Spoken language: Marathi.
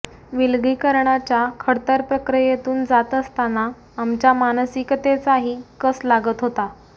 विलगीकरणाच्या खडतर प्रक्रियेतून जात असताना आमच्या मानसिकतेचाही कस लागत होता